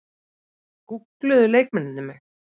Gúggluðu leikmennirnir mig?